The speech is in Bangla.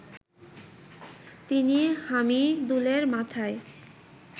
তিনি হামিদুলের মাথায়